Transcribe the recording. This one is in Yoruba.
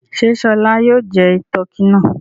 Ṣé Ṣọlá yóò jẹ tọkí náà?